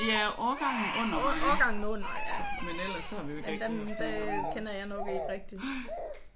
Ja årgangen under mig men ellers har vi jo ikke rigtig haft noget med dem at gøre